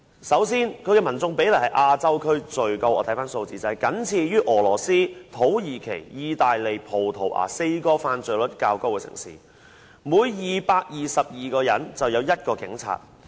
首先，香港警察與民眾比例是亞洲區內最高，根據早前的數字，是僅次於俄羅斯、土耳其、意大利及葡萄牙這4個犯罪率較高的城市，每222人便有1名警察。